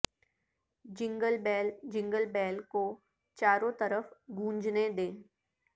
جنگل بیل جنگل بیل کو چاروں طرف گونجنے دیں